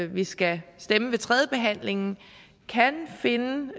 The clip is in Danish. vi skal stemme ved tredjebehandlingen kan finde nogle